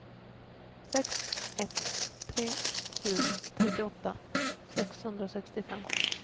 sex ett tre sju trettioåtta sexhundrasextiofem